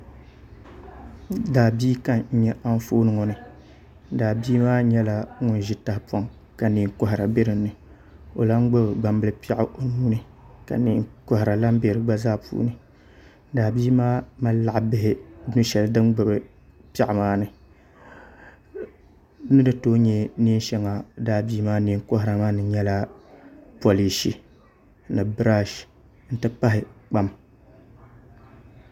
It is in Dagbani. Daabia ka n nyɛ Anfooni ŋo ni daabia maa nyɛla ŋun ʒi tahapoŋ ka neen kohara bɛ dinni o lahi gbubi gbambili piɛɣu o nuuni ka neenkohara lahi bɛ di gba zaa puuni daa bia maa mali laɣa bihi nu shɛli din gbubi piɛɣu maa ni ni ni tooi nyɛ neen shɛŋa daabia maa neen kohara maa ni n nyɛ polish n ti pahi kpam